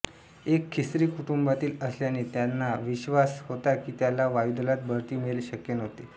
एक ख्रिस्ती कुटुंबतील असल्याने त्याला विश्वास होता की त्याला वायुदलात बढती मिळने शक्य नव्हते